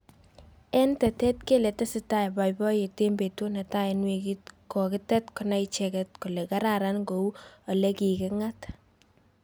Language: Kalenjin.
eng tetet kele tesetai boiboyet eng betut netai eng wikit kokitet konai icheket kole kararan kou olekikingat